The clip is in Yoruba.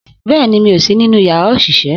Bẹ́ẹ̀ni, mi ò sí nínú yàrá òṣìṣẹ́